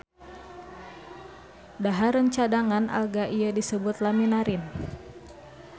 Dahareun cadangan alga ieu disebut laminarin.